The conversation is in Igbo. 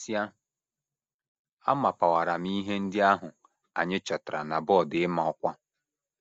E mesịa, amapawara m ihe ndị ahụ anyị chọtara na bọọdụ ịma ọkwa. ”